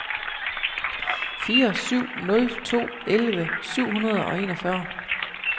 fire syv nul to elleve syv hundrede og enogfyrre